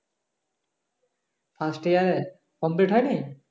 First year complete হয়নি?